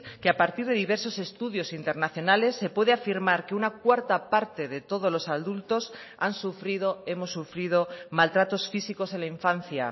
que a partir de diversos estudios internacionales se puede afirmar que una cuarta parte de todos los adultos han sufrido hemos sufrido maltratos físicos en la infancia